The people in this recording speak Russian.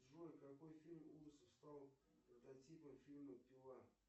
джой какой фильм ужасов стал прототипом фильма пила